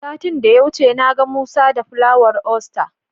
Satin da ya wuce na ga Musa da Fulawar Aster.